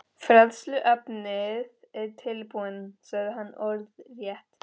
Fræðsluefnið er tilbúið, sagði hann orðrétt.